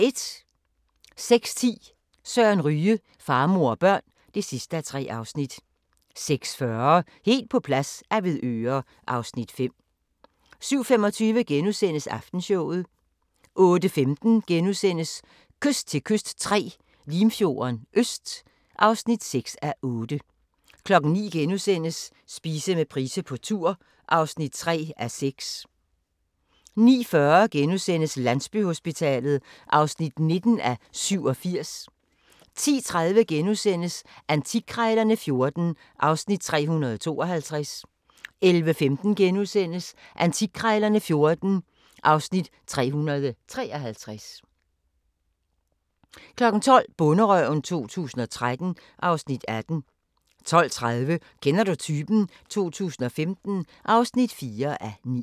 06:10: Søren Ryge: Far, mor og børn (3:3) 06:40: Helt på plads - Avedøre (Afs. 5) 07:25: Aftenshowet * 08:15: Kyst til kyst III – Limfjorden Øst (6:8)* 09:00: Spise med Price på tur (3:6)* 09:40: Landsbyhospitalet (19:87)* 10:30: Antikkrejlerne XIV (Afs. 352)* 11:15: Antikkrejlerne XIV (Afs. 353)* 12:00: Bonderøven 2013 (Afs. 18) 12:30: Kender du typen? 2015 (4:9)